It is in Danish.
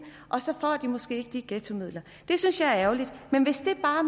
og så får de måske ikke de ghettomidler det synes jeg er ærgerligt men hvis vi bare